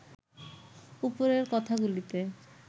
উপরের কথাগুলিতে